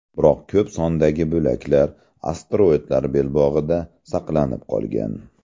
Biroq ko‘p sondagi bo‘laklar asteroidlar belbog‘ida saqlanib qolgan.